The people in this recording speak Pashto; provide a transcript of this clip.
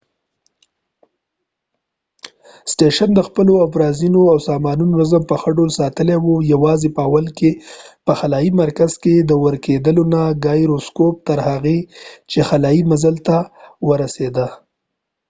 سټیشن د خپلو افزارونو او سامانونو نظم په ښه ډول ساتلی وه و یواځی په اول کې په خلایې مرکز کې د ګایروسکوپ gyroscope ورکېدلو نه تر هغې چې خلایې مزل تر پای ورسیده